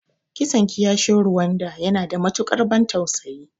Kisan kiyashin Rwanda yana da matuƙar ban tausayi.